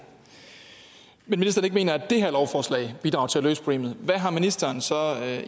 men ikke mener at det her lovforslag bidrager til at løse problemet hvad har ministeren så